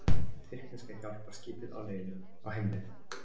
Tyrkneska hjálparskipið á heimleið